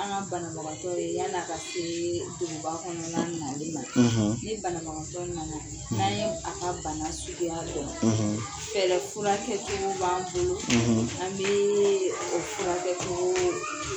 An ka banatɔ ye yani a ka se duguba kɔnɔna nali man; ; ni banabagatɔ nana; ; n'an ye a ka bana suguya don; ; Fɛɛrɛ furakɛcogo b'an bolo; an bɛɛɛ o furakɛ cogo